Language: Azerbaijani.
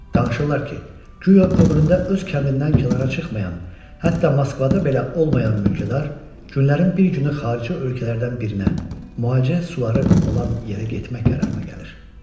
Danışırlar ki, guya ömründə öz kəndindən kənara çıxmayan, hətta Moskvada belə olmayan mülkədar, günlərin bir günü xarici ölkələrdən birinə, müalicə suları olan yerə getmək qərarına gəlir.